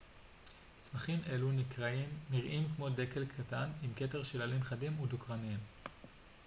צמחים אלו נראים כמו דקל קטן עם כתר של עלים חדים ודוקרניים